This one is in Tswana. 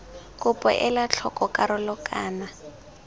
kopo ela tlhoko karolo kana